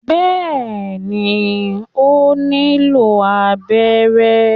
bẹẹni, o nilo abẹrẹ